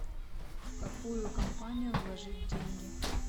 в какую компанию вложить деньги